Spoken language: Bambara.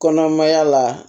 Kɔnɔmaya la